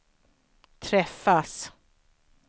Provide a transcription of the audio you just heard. träffas